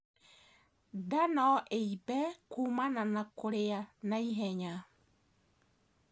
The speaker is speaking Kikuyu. Ndaa noĩimbe kumana na kũrĩa naihenya